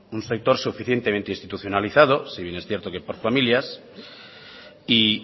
un sector suficientemente institucionalizado si bien que es cierto por familias y